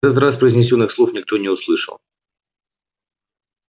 на этот раз произнесённых слов никто не услышал